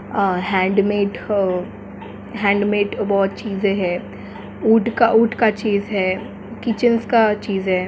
आ handmade हौ handmade में बहुत चीजे है ऊट -ऊट का चीज है किचन्स का चीज है।